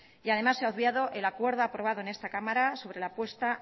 y además se ha obviado el acuerdo tomado en esta cámara sobre la puesta